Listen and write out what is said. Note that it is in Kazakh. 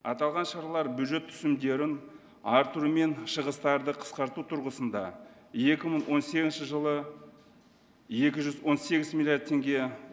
аталған шаралар бюджет түсімдерін арттыру мен шығыстарды қысқарту тұрғысында екі мың он сегізінші жылы екі жүз он сегіз миллиард теңге